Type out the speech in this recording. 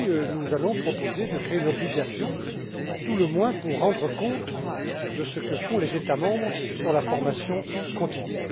Nous allons en effet proposer de créer une obligation à tout le moins pour rendre compte de ce que font les États membres en matière de formation continue.